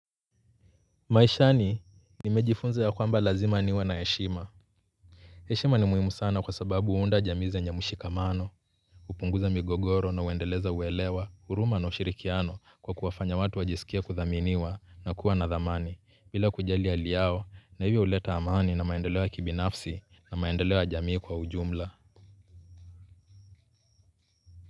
Maishani nimejifunza ya kwamba lazima niwe na heshima heshima ni muhimu sana kwa sababu huunda jamii zenye mshikamano upunguza migogoro na uendeleza uwelewa huruma na ushirikiano kwa kuwafanya watu wajisikie kuthaminiwa na kuwa na dhamani bila kujali hali yao na hivyo uleta amani na maendeleo ya kibinafsi na maendeleo ya jamii kwa ujumla.